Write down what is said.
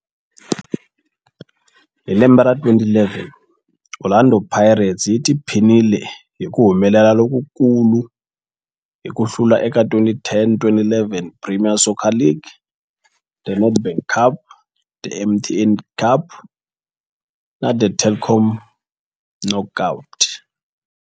Hi lembe ra 2011, Orlando Pirates yi tiphinile hi ku humelela lokukulu hi ku hlula eka 2010-11 Premier Soccer League, The Nedbank Cup, The MTN 8 Cup na The Telkom Knockout.